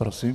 Prosím.